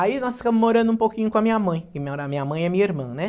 Aí nós ficamos morando um pouquinho com a minha mãe, que mora a minha mãe e a minha irmã, né?